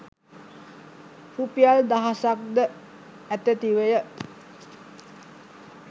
රුපියල් දහසක්ද අතැතිවය